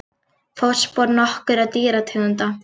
Fótspor nokkurra dýrategunda.